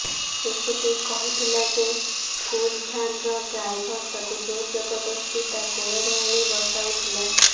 ଶିଶୁଟି କହିଥିଲା ଯେ ସ୍କୁଲ ଭ୍ୟାନ୍ ର ଡ୍ରାଇଭର ତାକୁ ଜବରଦସ୍ତି ତା କୋଳରେ ଆଣି ବସାଉଥିଲା